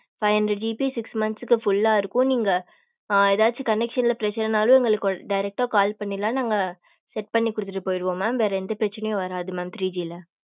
five hundred GB six minths full லா இருக்கும் நீங்க ஏதாச்சும் connection ல பிரச்சனைனாலும் எ ங்களுக்கு direct டா call பண்ணிரலாம் நாங்க set பண்ணி கொடுத்துட்டு போயிடுவோம் mam வேற எந்த பிரச்சனையும் வராது mam three G ல